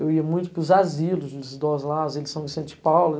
Eu ia muito para os asilos dos idosos lá, as edições de São Vicente de Paula.